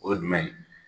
O ye jumɛn ye